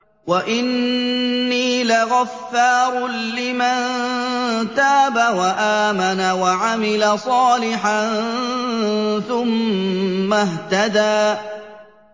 وَإِنِّي لَغَفَّارٌ لِّمَن تَابَ وَآمَنَ وَعَمِلَ صَالِحًا ثُمَّ اهْتَدَىٰ